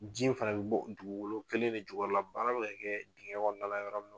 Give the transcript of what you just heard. Jiɲɛn fana bɛ bɔ dugukolo kelen de jukɔrɔla baara bɛ ka kɛ digɛn kɔnɔna la yɔrɔ min na.